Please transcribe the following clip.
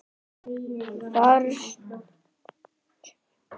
Fyrsta atriðið á.